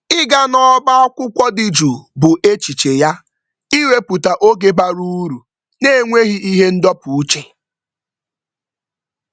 Ịga n'ọba akwụkwọ dị jụụ bụ echiche ya ịwepụta oge bara uru n'enweghị ihe ndọpụ uche.